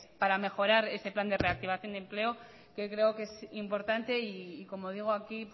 para mejorar ese plan de reactivación y empleo que creo que es importante y como digo aquí